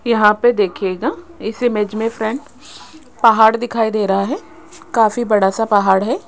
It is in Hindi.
यहां पे देखिएगा इस इमेज में फ्रेंड पहाड़ दिखाई दे रहा है काफी बड़ा सा पहाड़ है।